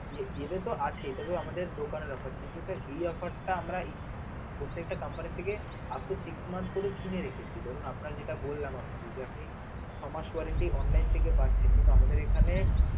এর এটা তো আছে তবে আমাদের দোকানের offer কিন্তু sir এই offer টা আমরা একটু প্রত্যেকটা company থেকে up to six month করে কিনে রেখেছি, ধরুন আপনার যেটা বললাম আপনাকে যে আপনি ছ'মাস warranty online পাচ্ছেন কিন্তু আমাদের এখানে